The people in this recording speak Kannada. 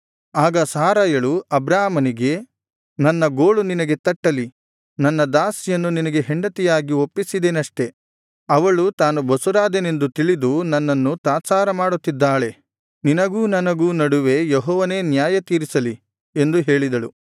ಆಗ ಸಾರಯಳು ಅಬ್ರಾಮನಿಗೆ ನನ್ನ ಗೋಳು ನಿನಗೆ ತಟ್ಟಲಿ ನನ್ನ ದಾಸಿಯನ್ನು ನಿನಗೆ ಹೆಂಡತಿಯಾಗಿ ಒಪ್ಪಿಸಿದೆನಷ್ಟೆ ಅವಳು ತಾನು ಬಸುರಾದೆನೆಂದು ತಿಳಿದು ನನ್ನನ್ನು ತಾತ್ಸಾರಮಾಡುತ್ತಿದ್ದಾಳೆ ನಿನಗೂ ನನಗೂ ನಡುವೆ ಯೆಹೋವನೇ ನ್ಯಾಯತೀರಿಸಲಿ ಎಂದು ಹೇಳಿದಳು